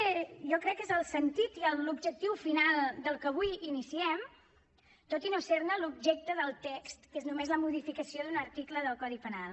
aquest jo crec que és el sentit i l’objectiu final del que avui iniciem tot i no ser ne l’objecte del text que és només la modificació d’un article del codi penal